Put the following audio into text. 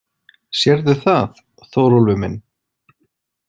Sérðu það, Þórólfur minn?